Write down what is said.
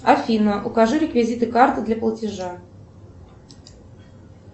афина укажи реквизиты карты для платежа